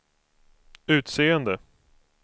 utseende